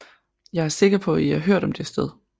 Jeg er sikker på at I har hørt om dette sted